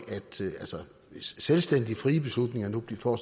hvis selvstændige frie beslutninger nu får